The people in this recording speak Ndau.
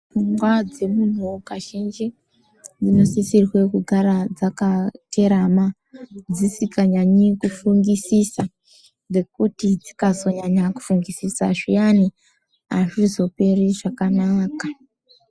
Pfungwa dzemuntu kazhinji dzinosisirwe kugara dzakaterama dzisikanyanyi kufungisisa ,ngekuti dzikanasa kufungisisa azvizoperi zvakanaka.